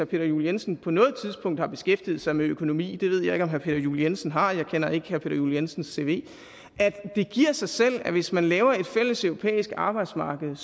peter juel jensen på noget tidspunkt har beskæftiget sig med økonomi det ved jeg herre peter juel jensen har jeg kender ikke herre peter juel jensens cv at det giver sig selv at hvis man laver et fælles europæisk arbejdsmarked